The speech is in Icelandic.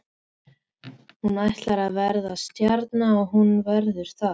Hún ætlar að verða stjarna og hún verður það.